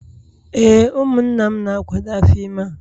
Ee, ụmụnna m na-akwado afọ ime a